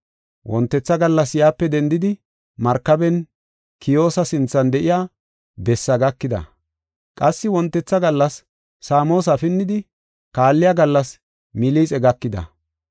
Wontetha gallas yaape dendidi markaben Kiyoosa sinthan de7iya bessaa gakida; qassi wontetha gallas Saamosa pinnidi kaalliya gallas Milixe gakida.